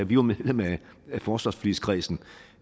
vi var medlem af forsvarsforligskredsen